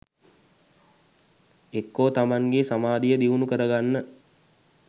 එක්කො තමන්ගේ සමාධිය දියුණු කරගන්න